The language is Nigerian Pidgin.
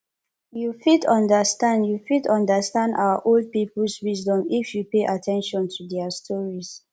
you fit understand you fit understand our old peoples wisdom if you pay at ten tion to their stories